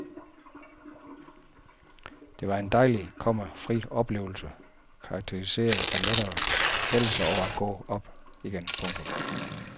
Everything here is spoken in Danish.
Det var en dejlig, komma fri oplevelse karakteriseret af lettelse over at gå op igen. punktum